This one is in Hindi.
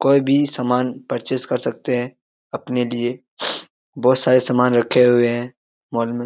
कोई भी सामान पर्चेस कर सकते है अपने लिए बहुत सारे सामान रखे हुए हैं मॉल में ।